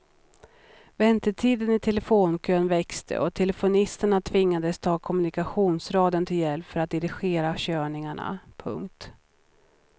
Väntetiden i telefonkön växte och växeltelefonisterna tvingades ta kommunikationsradion till hjälp för att dirigera körningarna. punkt